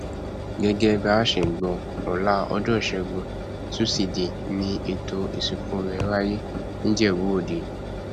gẹgẹ bá a ṣe gbọ ọla ọjọ ìṣẹgun tusidee ni ètò ìsìnkú rẹ wáyé nìjẹbúòde